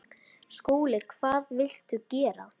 SKÚLI: Hvað viltu gera?